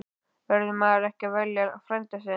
Verður maður ekki að velja frænda sinn?